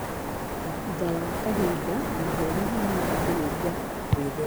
Thutha wa kahinda, mahũri nĩ mambĩrĩria gwĩtheria.